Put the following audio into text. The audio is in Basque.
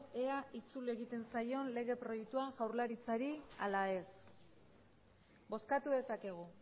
ea itzul egiten zaion lege proiektua jaurlaritzari ala ez bozkatu dezakegu